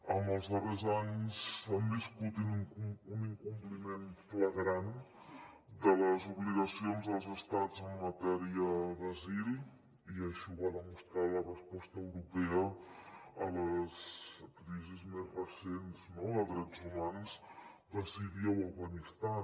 en els darrers anys s’ha viscut un incompliment flagrant de les obligacions dels estats en matèria d’asil i així ho va demostrar la resposta europea a les crisis més recents no de drets humans de síria o afganistan